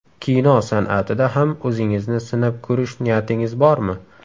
Kino san’atida ham o‘zingizni sinab ko‘rish niyatingiz bormi?